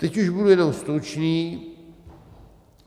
Teď už budu jenom stručný.